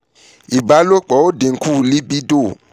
ibalopo o dinku libido